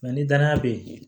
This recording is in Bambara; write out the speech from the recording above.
ni danaya bɛ yen